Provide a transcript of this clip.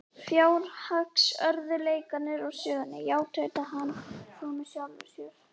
Fjárhagsörðugleikarnir úr sögunni, já- tautaði hann svo með sjálfum sér.